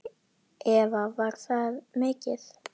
Eva: Var það mikið?